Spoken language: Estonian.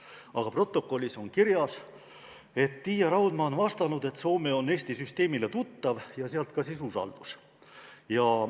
Aga protokollis on kirjas, et Tiia Raudma on vastanud, et Soome on Eesti süsteemile tuttav ja sealt siis ka usaldus.